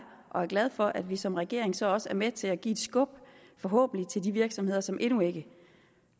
og jeg er glad for at vi som regering så også er med til at give et skub forhåbentlig til de virksomheder som endnu ikke